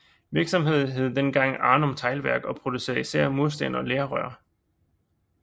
Virksomheden hed dengang Arnum Teglværk og producerede især mursten og lerrør